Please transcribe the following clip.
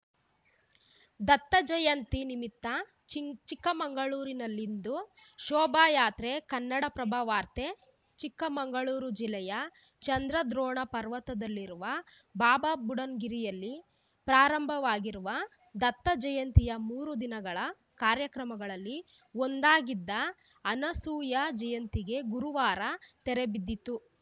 ದತ್ತಜಯಂತಿ ನಿಮಿತ್ತ ಚಿಂಗ್ ಚಿಕ್ಕಮಗಳೂರಲ್ಲಿಂದು ಶೋಭಾ ಯಾತ್ರೆ ಕನ್ನಡಪ್ರಭ ವಾರ್ತೆ ಚಿಕ್ಕಮಗಳೂರು ಜಿಲ್ಲೆಯ ಚಂದ್ರದ್ರೋಣ ಪರ್ವತದಲ್ಲಿರುವ ಬಾಬಾಬುಡನ್‌ಗಿರಿಯಲ್ಲಿ ಪ್ರಾರಂಭವಾಗಿರುವ ದತ್ತಜಯಂತಿಯ ಮೂರು ದಿನಗಳ ಕಾರ್ಯಕ್ರಮಗಳಲ್ಲಿ ಒಂದಾಗಿದ್ದ ಅನಸೂಯ ಜಯಂತಿಗೆ ಗುರುವಾರ ತೆರೆಬಿದ್ದಿತು